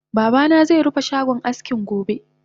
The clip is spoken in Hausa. Babana ze rufe shagon askinsa gobe